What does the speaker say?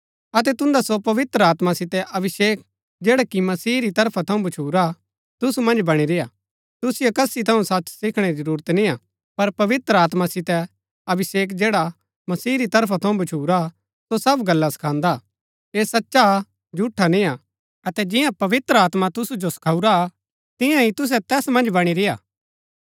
अतै तुन्दा सो पवित्र आत्मा सितै अभिषेक जैडा कि मसीह री तरफा थऊँ भच्छुरा तुसु मन्ज बणी रेय्आ तुसिओ कसी थऊँ सच सिखणै री जरूरत निय्आ पर पवित्र आत्मा सितै अभिषेक जैडा मसीह री तरफा थऊँ भछुरा सो सब गल्ला सखांदा हा ऐह सचा हा झूठा निआ अतै जिंआं पवित्र आत्मा तुसु जो सखाऊरा तियां ही तुसै तैस मन्ज बणी रेय्आ